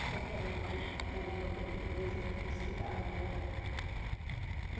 Né que era o nome da da língua portuguesa que a gente estudava na época.